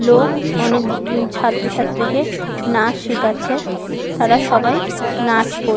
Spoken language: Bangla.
লোক অনেক ছাএ ছাএীকে নাচ শিখাচ্ছে তারা সবাই নাচ করছে।